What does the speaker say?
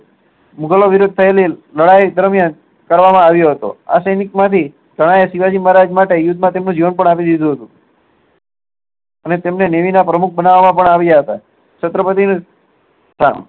મુગલો વિરુધ થયેલી લડાઈ દરમિયાન કરવામાં આવ્યા હતા આ સૈનિક માંથી ગણાય શિવાજી મહારાજ માટે યુદ્ધ માં પોતાનું જીવન પણ આપી દીધું હતું અને તેમને નેવી ના પ્રમોખ બનાવા માં આવ્યા હતા છત્રપતી